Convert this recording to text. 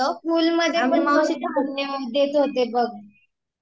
school मध्ये ते धान्य देत होते बघ